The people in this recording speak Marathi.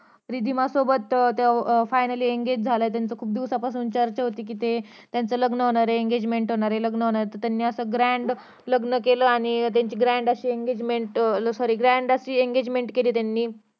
रिधिमा सोबत तो अं finaly engage झाला त्यांची खूप दिवसांपासून चर्चा होती कि त्यांचं लग्न होणार त्यांची engament लग्न होणार ये त्यांनी grand असं लग्न केलं अं sorry grand अशी engegement केली त्यांनी